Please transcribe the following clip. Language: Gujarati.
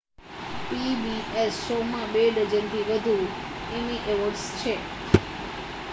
pbs શો માં બે ડઝન થી વધુ એમી અવોર્ડ્સ છે